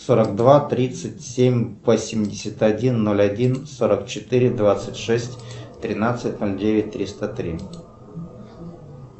сорок два тридцать семь восемьдесят один ноль один сорок четыре двадцать шесть тринадцать ноль девять триста три